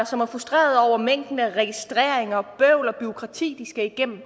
som er frustreret over mængden af registreringer og bøvl og bureaukrati de skal igennem